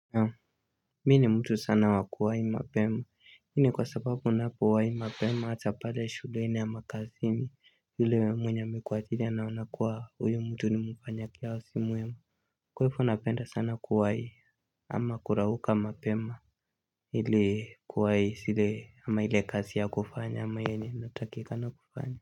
Mi ni mtu sana wakuwaihi mapema. Hini kwa sababu unapo wahi mapema hatapale shuleni ama kazini yule mwenye amekuajiri anaonakua huyu mtu ni mfanyakazi mwema. Kwa hivo napenda sana kuwai ama kurauka mapema ile kuwai sile ama ile kazi ya kufanya ama ile natakikana kufanya.